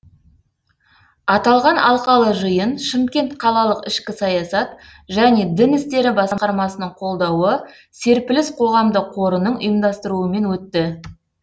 аталған алқалы жиын шымкент қалалық ішкі саясат және дін істері басқармасының қолдауы серпіліс қоғамдық қорының ұйымдастыруымен өтті